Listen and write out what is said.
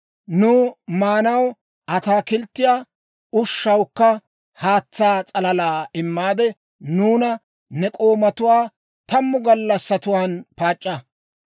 «Nuw maanaw ataakilttiyaa, ushanawukka haatsaa s'alalaa immaade, nuuna ne k'oomatuwaa tammu gallassatuwaan paac'c'a.